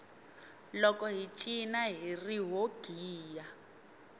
loko hi cina hiri ho giya